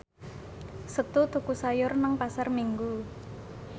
Setu tuku sayur nang Pasar Minggu